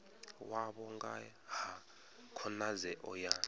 wavho nga ha khonadzeo ya